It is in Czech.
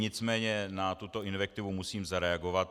Nicméně na tuto invektivu musím zareagovat.